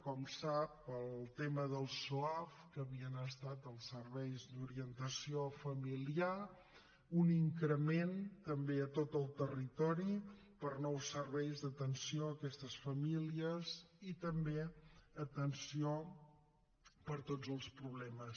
com sap el tema dels soaf que havien estat els serveis d’orientació familiar un increment també a tot el territori per a nous serveis d’atenció a aquestes famílies i també atenció per a tots els problemes